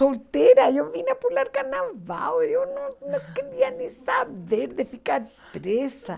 Solteira, eu vim pular carnaval, eu não não queria nem saber de ficar presa.